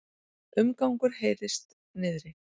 Umgangur heyrist niðri.